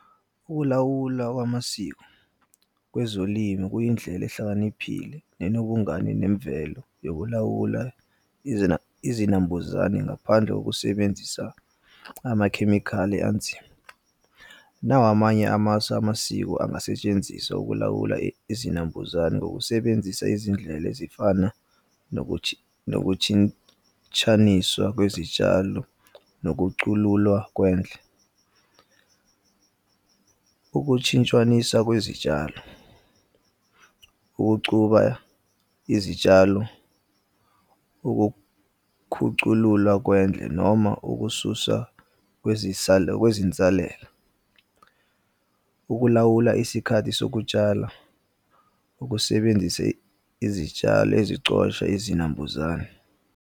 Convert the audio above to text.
Ukulawula kwamasiko kwezolimo kuyindlela ehlakaniphile nenobungane nemvelo yokulawula izinambuzane ngaphandle kokusebenzisa amakhemikhali anzima. Nawa amanye amasu amasiko angasetshenziswa ukulawula izinambuzane ngokusebenzisa izindlela ezifana nokutshintshaniswa kwezitshalo, nokucululwa kwendle. Ukutshintshaniswa kwezitshalo, ukucuba izitshalo, ukukhuculula kwendle noma ukususwa kwezinsalela. Ukulawula isikhathi sokutshala, ukusebenzisa izitshalo ezicosha izinambuzane.